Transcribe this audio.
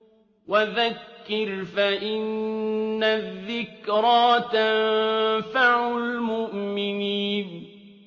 وَذَكِّرْ فَإِنَّ الذِّكْرَىٰ تَنفَعُ الْمُؤْمِنِينَ